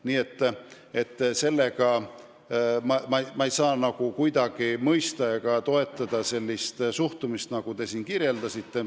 Nii et ma ei suuda kuidagi mõista ega toetada sellist suhtumist, millele te siin viitasite.